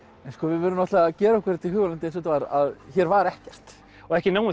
við verðum náttúrulega að gera okkur þetta í hugarlund eins og þetta var að hér var ekkert og ekki nóg